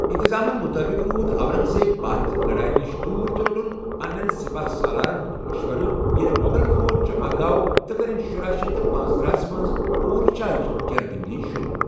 انتِظامن مطٲبق، روٗد اورنگزیب پتھ، لڑایہٕ نِش دوٗر، تہٕ روٚٹن پنٛنٮ۪ن سِپا ہ سالارن ہُنٛد مشورٕ ییٚلہ مۄغل فوج جمع گوٚو تہٕ کٔرٕن شراہ شتھ پانٛژ تٕرٛہس منٛز اورچھا ہٕچ گیرٕ بٔنٛدی شروع۔